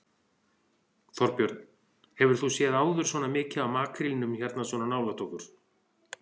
Þorbjörn: Hefur þú séð áður svona mikið af makrílnum hérna svona nálægt okkur?